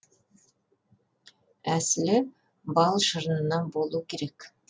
әсілі бал шырынына болу керек